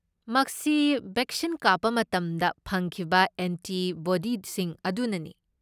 ꯃꯁꯤ ꯕꯦꯛꯁꯤꯟ ꯀꯥꯞꯄ ꯃꯇꯝꯗ ꯐꯪꯈꯤꯕ ꯑꯦꯟꯇꯤꯕꯣꯗꯤꯁꯤꯡ ꯑꯗꯨꯅꯅꯤ꯫